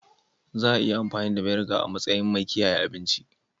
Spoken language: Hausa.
Za a iya amfani da Vinegar a matsayin mai kiyaye abinci.